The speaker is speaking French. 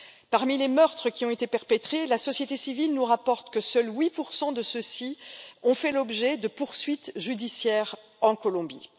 Parmi les meurtres qui ont été perpétrés, la société civile nous rapporte que seuls 8 de ceux ci ont fait l'objet de poursuites judiciaires en Colombie.